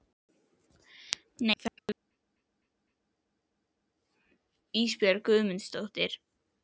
Nei það er kvöld Ísbjörg Guðmundsdóttir.